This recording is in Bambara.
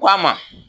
Ko a ma